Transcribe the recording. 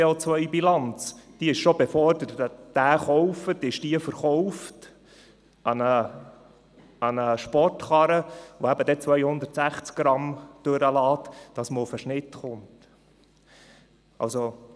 Um auf den Durchschnitt zu kommen, ist die COBilanz des Tesla bereits an einen Sportwagen angerechnet, der 260 g/km ausstösst.